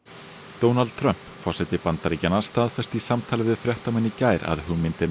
Donald Trump forseti Bandaríkjanna staðfesti í samtali við fréttamenn í gær að hugmyndina